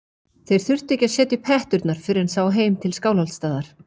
Þeir þurftu ekki að setja upp hetturnar fyrr en sá heim til Skálholtsstaðar.